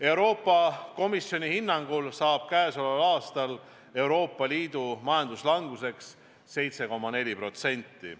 Euroopa Komisjoni hinnangul kujuneb sel aastal Euroopa Liidu majanduslanguseks 7,4%.